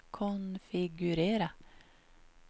konfigurera